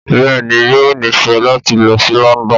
Bẹ́ẹ̀ ni, yóò nífẹ̀ẹ́ láti lọ sí London.